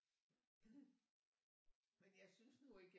Men jeg synes nu ikke jeg